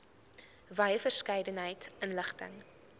wye verskeidenheid inligting